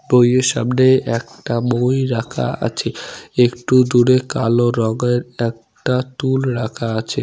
বইয়ের সামনে একটা মই রাখা আছে । একটু দূরে কালো রঙ্গের একটা টুল রাখা আছে।